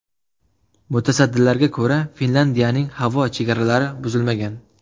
Mutasaddilarga ko‘ra, Finlyandiyaning havo chegaralari buzilmagan.